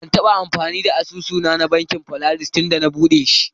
Ban taba amfani da asusu na, na Bankin polaris tunda na buɗe shi.